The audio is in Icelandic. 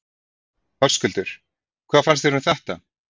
Höskuldur: Hvað fannst þér um þetta?